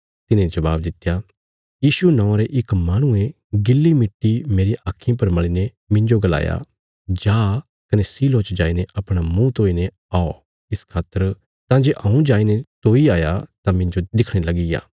तिने जबाब दित्या यीशु नौआं रे इक माहणुये गिल्ली मिट्टी मेरियां आक्खीं पर मल़ीने मिन्जो गलाया जा कने शीलोह च जाईने अपणा मुँह धोईने औ इस खातर तां जे हऊँ जाईने धोई आया तां मिन्जो दिखणे लगीप्या